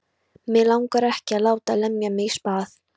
Mig langar ekki að láta lemja mig í spað.